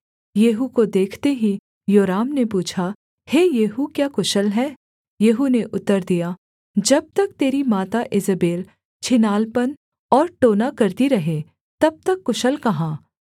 येहू को देखते ही योराम ने पूछा हे येहू क्या कुशल है येहू ने उत्तर दिया जब तक तेरी माता ईजेबेल छिनालपन और टोना करती रहे तब तक कुशल कहाँ